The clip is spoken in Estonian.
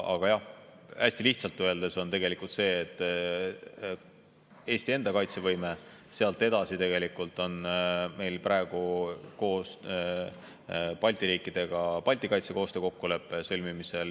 Aga jah, hästi lihtsalt öeldes on tegelikult Eesti enda kaitsevõime, sealt edasi on meil praegu koos Balti riikidega Balti kaitsekoostöö kokkulepe sõlmimisel.